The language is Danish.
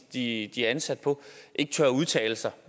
de er ansat på ikke tør udtale sig